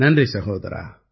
நன்றி சகோதரா